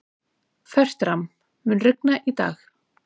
Fertram, mun rigna í dag?